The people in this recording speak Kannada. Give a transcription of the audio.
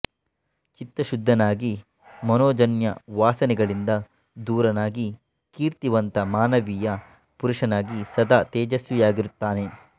ಚಿತ್ತಶುದ್ಧನಾಗಿ ಮನೋಜನ್ಯವಾಸನೆಗಳಿಂದ ದೂರನಾಗಿ ಕೀರ್ತಿವಂತ ಮಾನವೀಯ ಪುರುಷನಾಗಿ ಸದಾ ತೇಜಸ್ವಿಯಾಗಿರುತ್ತಾನೆ